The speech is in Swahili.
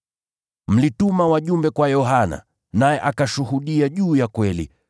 “Mlituma wajumbe kwa Yohana, naye akashuhudia juu ya kweli.